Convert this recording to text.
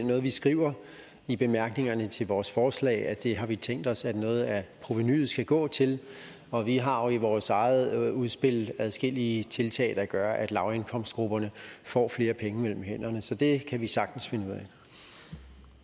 noget vi skriver i bemærkningerne til vores forslag altså at det har vi tænkt os at noget af provenuet skal gå til og vi har i vores eget udspil adskillige tiltag der gør at lavindkomstgrupperne får flere penge mellem hænderne så det kan vi sagtens finde ud af